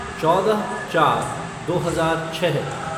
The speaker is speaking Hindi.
चौदह चार दो हजार छः